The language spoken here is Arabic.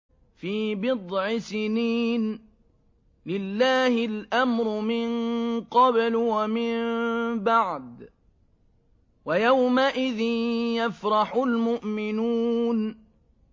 فِي بِضْعِ سِنِينَ ۗ لِلَّهِ الْأَمْرُ مِن قَبْلُ وَمِن بَعْدُ ۚ وَيَوْمَئِذٍ يَفْرَحُ الْمُؤْمِنُونَ